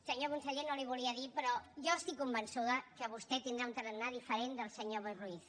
senyor conseller no li ho volia dir però jo estic convençuda que vostè tindrà un tarannà diferent del senyor boi ruiz